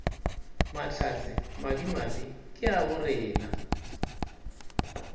mahlatse madimabe ke a borena